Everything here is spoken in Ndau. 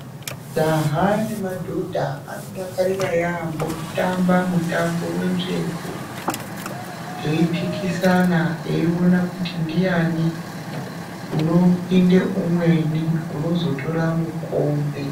Majaha nemadhodha, anodakarira yeyamho kutamba mutambo wenzvengo, eiphikisana eiona kuti ndiani unopinde umweni unozotora mukombe.